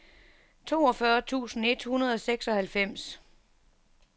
toogfyrre tusind et hundrede og seksoghalvfems